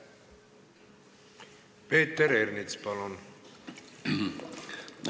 Peeter Ernits, palun!